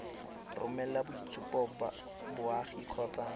romela boitshupo ba boagi kgotsa